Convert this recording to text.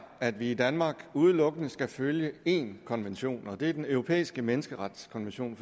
at vi i danmark udelukkende skal følge én konvention og det er den europæiske menneskerettighedskonvention